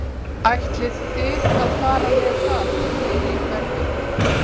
Ætlið þið að fara með það í fleiri hverfi?